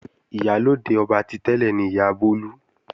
Ìyálóde ọba ti tẹ́lẹ̀ ni Ìyá Bólú.